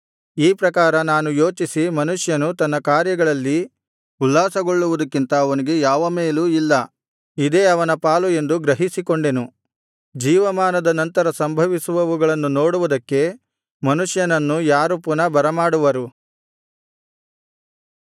ಈ ಪ್ರಕಾರ ನಾನು ಯೋಚಿಸಿ ಮನುಷ್ಯನು ತನ್ನ ಕಾರ್ಯಗಳಲ್ಲಿ ಉಲ್ಲಾಸಗೊಳ್ಳುವುದಕ್ಕಿಂತ ಅವನಿಗೆ ಯಾವ ಮೇಲೂ ಇಲ್ಲ ಇದೇ ಅವನ ಪಾಲು ಎಂದು ಗ್ರಹಿಸಿಕೊಂಡೆನು ಜೀವಮಾನದ ನಂತರ ಸಂಭವಿಸುವವುಗಳನ್ನು ನೋಡುವುದಕ್ಕೆ ಮನುಷ್ಯನನ್ನು ಯಾರು ಪುನಃ ಬರಮಾಡುವರು